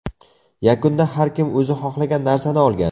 Yakunda har kim o‘zi xohlagan narsani olgan.